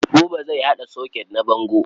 Buba zai haɗa soket na bango.